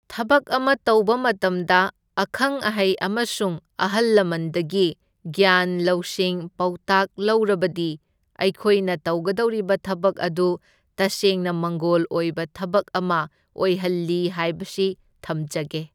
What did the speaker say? ꯊꯕꯛ ꯑꯃ ꯇꯧꯕ ꯃꯇꯝꯗ ꯑꯈꯪ ꯑꯍꯩ ꯑꯃꯁꯨꯡ ꯑꯍꯜ ꯂꯃꯟꯗꯒꯤ ꯒ꯭ꯌꯥꯟ ꯂꯧꯁꯤꯡ ꯄꯥꯎꯇꯥꯛ ꯂꯧꯔꯕꯗꯤ ꯑꯩꯈꯣꯏꯅ ꯇꯧꯒꯗꯧꯔꯤꯕ ꯊꯕꯛ ꯑꯗꯨ ꯇꯁꯦꯡꯅ ꯃꯪꯒꯣꯜ ꯑꯣꯏꯕ ꯊꯕꯛ ꯑꯃ ꯑꯣꯏꯍꯜꯂꯤ ꯍꯥꯏꯕꯁꯤ ꯊꯝꯖꯒꯦ꯫